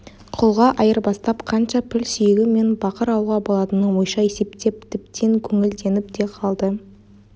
құлға айырбастап қанша піл сүйегі мен бақыр алуға болатынын ойша есептеп тіптен көңілденіп те қалды